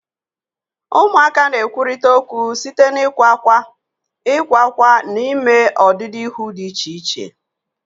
Ụmụaka na-ekwurịta okwu site n'ịkwa ákwá, ịkwa ákwá, na ime ọdịdị ihu dị iche iche.